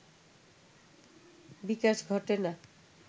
বিকাশ ঘটে না